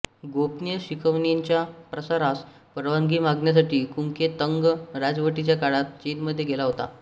गोपनीय शिकवणीच्या प्रसारास परवानगी मागण्यासाठी कूकै तंग राजवटीच्या काळात चीनमध्ये गेला होता